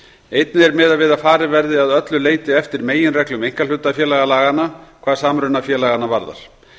einnig er miðað við að farið verði að öllu leyti eftir meginreglum einkahlutafélagalaganna hvað samruna félaganna varðar